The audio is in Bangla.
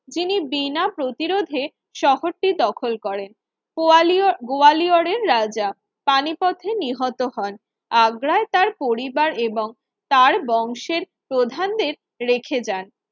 যিনি বিনা প্রতিরোধে শহরটি দখল করেন গোয়ালিয় গোয়ালিয়রের রাজা পানি পথে নিহত হন আগ্রায় তার পরিবার এবং তার বংশের প্রধানদের রেখে যান